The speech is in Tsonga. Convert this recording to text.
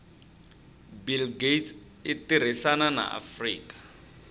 bill gates itirisana na afrika